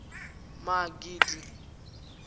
magidi